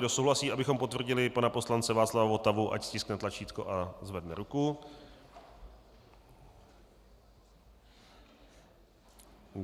Kdo souhlasí, abychom potvrdili pana poslance Václava Votavu, ať stiskne tlačítko a zvedne ruku.